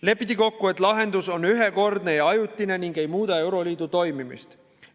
Lepiti kokku, et lahendus on ühekordne ja ajutine ning ei muuda euroliidu toimimist.